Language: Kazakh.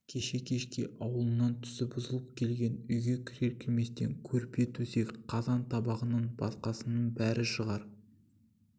кеше кешке ауылынан түсі бұзылып келген үйге кірер-кірместен көрпе төсек қазан-табағыңнан басқасының бәрін шығар